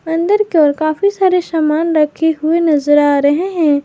अंदर के ओर काफी सारे सामान रखे हुए नजर आ रहे हैं।